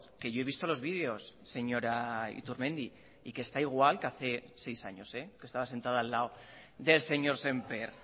que yo he visto los vídeos señora iturmendi y que está igual que hace seis años que estaba sentada al lado del señor sémper